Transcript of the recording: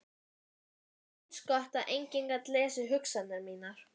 Það var eins gott að enginn gat lesið hugsanir mínar.